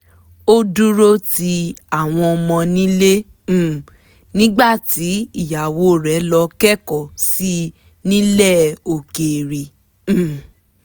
ó dúró ti àwọn ọmọ nílé um nígbà tí ìyàwó rẹ̀ lọ kẹ́kọ̀ọ́ sí nílẹ̀ òkèèrè um